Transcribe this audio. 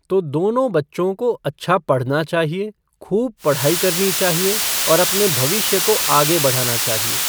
तो दोनों बच्चों को अच्छा पढ़ना चाहिए खूब पढ़ाई करना चाहिए और अपने भविष्य को आगे बढ़ाना चाहिए।